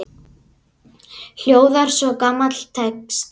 hljóðar svo gamall texti